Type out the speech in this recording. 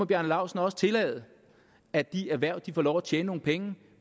bjarne laustsen også tillade at de erhverv får lov til at tjene nogle penge